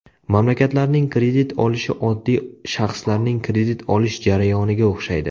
Mamlakatlarning kredit olishi oddiy shaxslarning kredit olish jarayoniga o‘xshaydi.